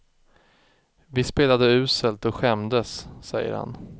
Vi spelade uselt och skämdes, säger han.